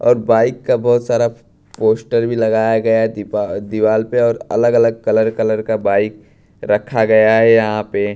और बाइक का बहोत सारा पोस्टर भी लगाया गया दीपा दीवाल पे और अलग अलग कलर कलर का बाइक रखा गया है यहां पे--